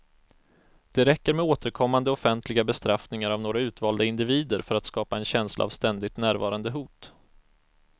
Det räcker med återkommande offentliga bestraffningar av några utvalda individer för att skapa en känsla av ständigt närvarande hot.